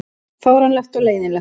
Fáránlegt og leiðinlegt